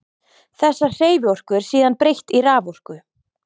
Þessari hreyfiorku er síðan breytt í raforku.